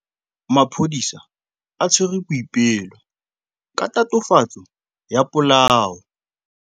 Maphodisa a tshwere Boipelo ka tatofatsô ya polaô.